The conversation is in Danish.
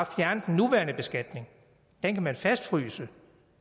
fjerne den nuværende beskatning den kan man fastfryse